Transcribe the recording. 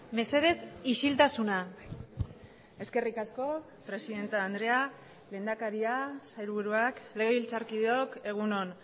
mesedez isiltasuna eskerrik asko presidente andrea lehendakaria sailburuak legebiltzarkideok egun on